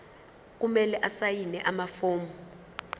kumele asayine amafomu